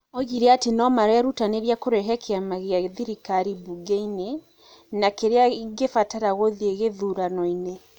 Oigire atĩ no marerutanĩria kũrehe kĩama gĩa thirikari mbunge-inĩ na kĩrĩa ĩngĩbatara guthĩĩ gĩthurano-inĩ.